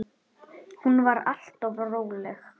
Hún var alltaf róleg.